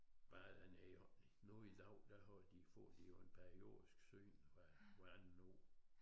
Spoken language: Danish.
Bare der nede hvor nu i dag der får de får de jo et periodisk syn hver andet år